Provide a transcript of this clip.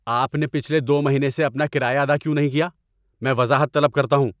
آپ نے پچھلے دو مہینوں سے اپنا کرایہ ادا کیوں نہیں کیا؟ میں وضاحت طلب کرتا ہوں۔